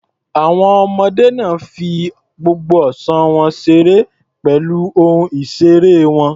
Àwọn ọmọdé náà fi gbogbo ọ̀sán wọn ṣeré pẹ̀lú ohun ìṣeré wọn.